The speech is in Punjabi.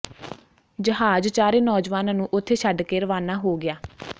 ਜਹਾਜ਼ ਚਾਰੇ ਨੌਜਵਾਨਾਂ ਨੂੰ ਉਥੇ ਛੱਡ ਕੇ ਰਵਾਨਾ ਹੋ ਗਿਆ